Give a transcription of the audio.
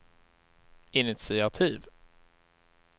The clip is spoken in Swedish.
initiativ